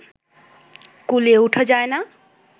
কুলিয়ে ওঠা যায় না